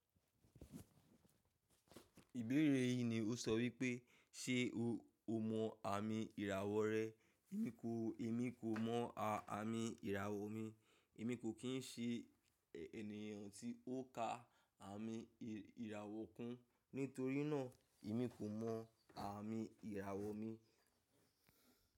Ìbéèrè yí ni ó sọ wípé, ṣe o mọ àmì ìràwọ̀ rẹ? Èmi kò, èmi kò mọ àmì ìràwọ̀ mi. Èmi kò kín ṣe ènìyàn tí ó ka àmì ìràwọ̀ kún. Nítorínà, èmi kò mọ àmì ìràwọ̀ mi.